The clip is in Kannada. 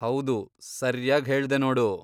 ಹೌದು, ಸರ್ಯಾಗ್ ಹೇಳ್ದೆ ನೋಡು.